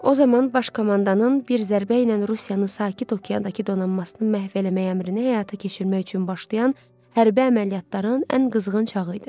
O zaman baş komandanın bir zərbə ilə Rusiyanın Sakit Okeandakı donanmasını məhv eləməyə əmrini həyata keçirmək üçün başlayan hərbi əməliyyatların ən qızğın çağı idi.